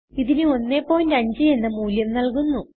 ഇതിന് 15 എന്ന മൂല്യം നല്കുന്നു